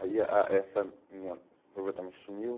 Aí a essa minha noiva também sumiu.